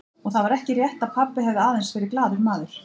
Og það var ekki rétt að pabbi hafi aðeins verið glaður maður.